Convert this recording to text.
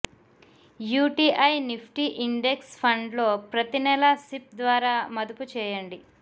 UTI Nifty index fund లో ప్రతి నెలా సిప్ ద్వారా మదుపు చేయండి